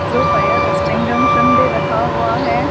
जो fire extinguisher भी रखा हुआ है।